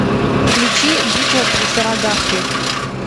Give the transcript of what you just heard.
включи битва при сарагахри